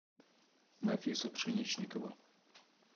нафиса пшеничникова